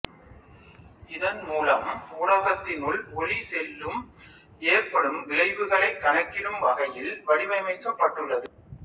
இதன் மூலம் ஊடகத்தினுள் ஒளி செல்லும் ஏற்படும் விளைவுகளைக் கணக்கிடும் வகையில் வடிவமைக்கப்பட்டுள்ளது